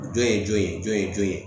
Jɔn ye jɔn ye jɔn ye jɔn ye